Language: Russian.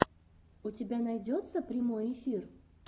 у тебя найдется прямой эфир